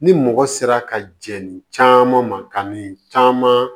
Ni mɔgɔ sera ka jɛni caman ma ka min caman